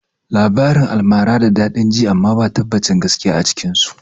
Labaran almara da daɗin ji amma ba tabbacin gaskiya a cikin su